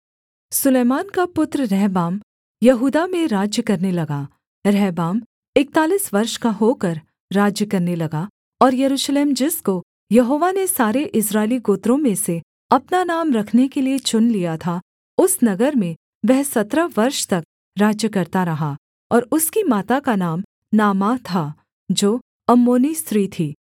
सुलैमान का पुत्र रहबाम यहूदा में राज्य करने लगा रहबाम इकतालीस वर्ष का होकर राज्य करने लगा और यरूशलेम जिसको यहोवा ने सारे इस्राएली गोत्रों में से अपना नाम रखने के लिये चुन लिया था उस नगर में वह सत्रह वर्ष तक राज्य करता रहा और उसकी माता का नाम नामाह था जो अम्मोनी स्त्री थी